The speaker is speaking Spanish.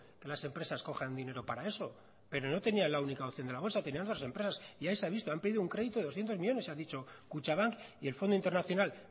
que las empresas cojan dinero para eso pero no tenía la única opción de la bolsa tenía otras empresas y ahí se ha visto han pedido un crédito de berrehunmillónes y ha dicho kutxabank y el fondo internacional